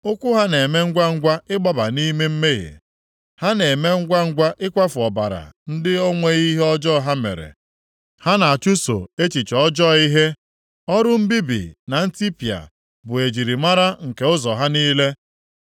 Ụkwụ ha na-eme ngwangwa ịgbaba nʼime mmehie, ha na-emekwa ngwa ịkwafu ọbara ndị o nweghị ihe ọjọọ ha mere. Ha na-achụso echiche ajọ ihe, ọrụ mbibi na ntipịa bụ ejiri mara nke ụzọ ha niile.